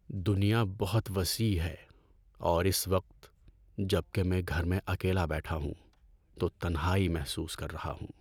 دنیا بہت وسیع ہے اور اس وقت جب کہ میں گھر میں اکیلا بیٹھا ہوں تو تنہائی محسوس کر رہا ہوں۔